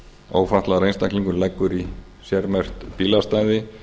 ef ófatlaður einstaklingur leggur í sérmerkt bílastæði